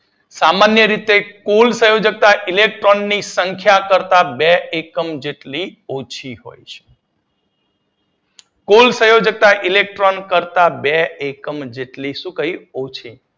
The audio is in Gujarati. સામાન્ય રીતે કુલ સંયોજકતા ઇલેક્ટ્રોન ની સંખ્યા કરતાં બે એકમ જેટલી ઓછી હોય છે. કુલ સંયોજકતા ઇલેક્ટ્રોન કરતાં બે એકમ જેટલી શું કહિયું ઓછી